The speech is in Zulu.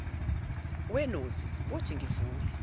wenozi wothi ngivule